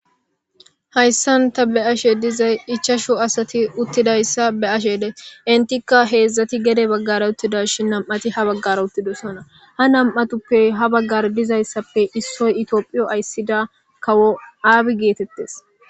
hayssan ta be ashe dizay ichasho asati uttidayssa be ashede entikka heedzdzati gede baggare uttida shi nam7ati ha baggare uttidosona ha nam7atuppe ha baggar dizayssappe issoy itioophiyo ayssida kawo aabi geetettes